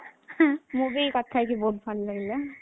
ମୁଁ ବି କଥା ହେଇକି ବହୁତ ଭଲ ଲାଗିଲା